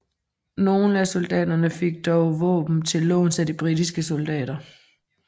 Nogle af soldaterne fik dog våben til låns af de britiske soldater